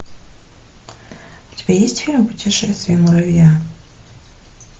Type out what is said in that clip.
у тебя есть фильм путешествие муравья